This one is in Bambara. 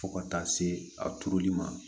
Fo ka taa se a turuli ma